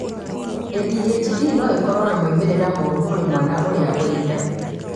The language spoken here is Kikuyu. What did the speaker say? ADHD no ĩkorwo na maumĩrĩra moru kũrĩ mwana ũrĩa ũrĩ nda